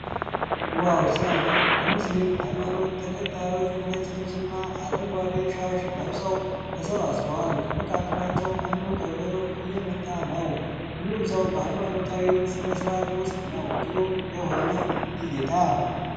ዋው ሲያምር! የሙስሊም ሃይማኖት ተከታዮች በነጭ ልብስና አረንጓዴ ሻሽ ለብሰው ተሰብስበዋል። ከመካከላቸው አንዱ ከበሮ እየመታ ነው። ሁሉም ሰው በሃይማኖታዊ ሥነ-ሥርዓት ውስጥ ነው። ግሩም የሆነ እይታ!